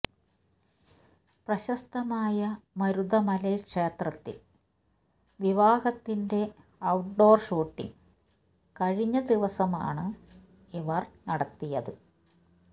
പ്രശസ്തമായ മരുതമലൈ ക്ഷേത്രത്തിൽ വിവാഹത്തിന്റെ ഔട്ട്ഡോർ ഷൂട്ടിംഗ് കഴിഞ്ഞ ദിവസമാണ് ഇവർ നടത്തിയത്